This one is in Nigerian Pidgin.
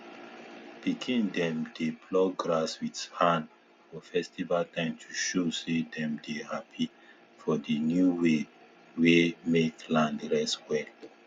pikin dem dey pluck grass with hand for festival time to show say dem dey happy for di new way wey mek land rest well